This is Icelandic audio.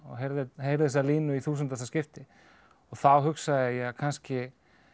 heyrði heyrði þessa línu í þúsundasta skipti þá hugsaði ég kannski